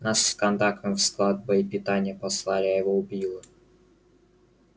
нас с кондаковым в склад боепитания послали а его убило